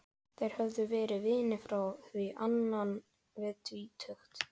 Þeir höfðu verið vinir frá því innan við tvítugt.